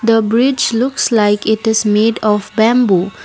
a bridge looks like it is made of bamboo.